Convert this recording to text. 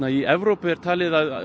í Evrópu er talið að